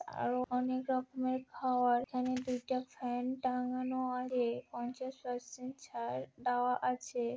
আরো অনেক রকমের খাবার আমি দুইটা ফ্যান টাঙ্গানো আগে পঞ্চাশ পারসেন্ট ছাড় দেওয়া আছে।